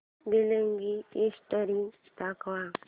billing history दाखव